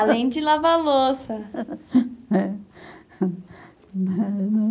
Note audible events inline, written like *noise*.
Além de lavar louça.... *laughs* é *unintelligible*